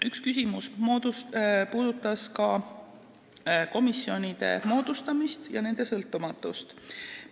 Üks küsimus oli ka komisjonide moodustamise ja nende sõltumatuse kohta.